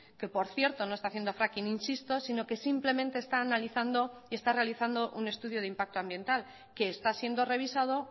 que por cierto no está haciendo fracking insisto sino que simplemente está analizando y está realizando un estudio de impacto ambiental que está siendo revisado